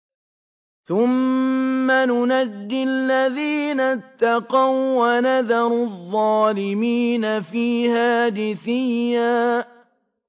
ثُمَّ نُنَجِّي الَّذِينَ اتَّقَوا وَّنَذَرُ الظَّالِمِينَ فِيهَا جِثِيًّا